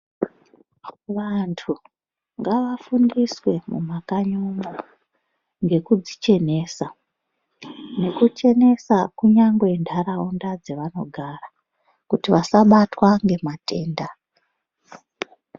Wantu ngawafundiswe mumakanyi umu ngekudzichenesa nekuchenesa kunyangwe nharaunda dzawanogara kuti wasabatwa ngematenda